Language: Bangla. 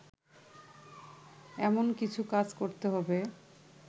এমন কিছু কাজ করতে হবে